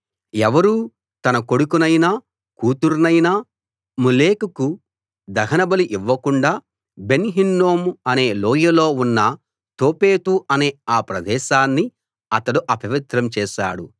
ఎవరూ తన కొడుకునైనా కూతుర్నైనా మొలెకుకు దహనబలి ఇవ్వకుండా బెన్‌ హిన్నోము అనే లోయలో ఉన్న తోఫెతు అనే ఆ ప్రదేశాన్ని అతడు అపవిత్రం చేశాడు